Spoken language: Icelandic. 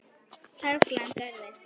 Perlan gerði.